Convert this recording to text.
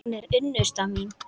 Hún er unnusta mín!